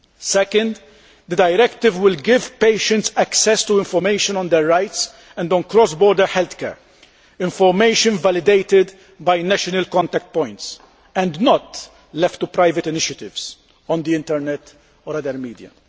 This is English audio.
Secondly, the directive will give patients access to information on their rights and on cross border healthcare information validated by national contact points and not left to private initiatives on the Internet or other media.